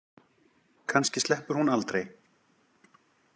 Kannski sleppur hún aldrei.